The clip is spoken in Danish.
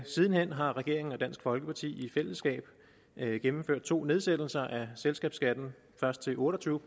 siden hen har regeringen og dansk folkeparti i fællesskab gennemført to nedsættelser af selskabsskatten først til otte og tyve